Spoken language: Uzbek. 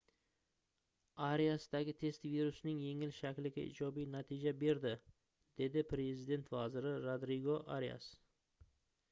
ariasdagi test virusning yengil shakliga ijobiy natija berdi dedi prezident vaziri rodrigo arias